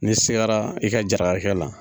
Ni sigara i ka jarakɛ la.